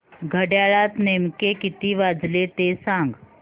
घड्याळात नेमके किती वाजले ते सांग